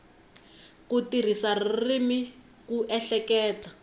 ku tirhisa ririmi ku ehleketa